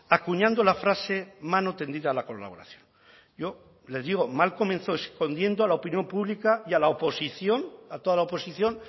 acuñando la frase mano tendida a la colaboración yo le digo mal comenzó escondiendo a la opinión pública y a la oposición a toda la oposición